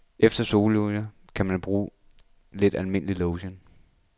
Efter sololien kan man bruge lidt almindelig lotion.